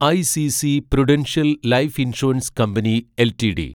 ICC prudential life insurance company LTD